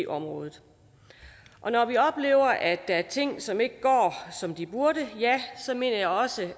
området og når vi oplever at der er ting som ikke går som de burde så mener jeg også